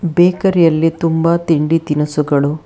bakery ಯಲ್ಲಿ ತುಂಬ ತಿಂಡಿ ತಿನಸುಗಳು--